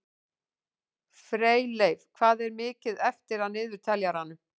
Freyleif, hvað er mikið eftir af niðurteljaranum?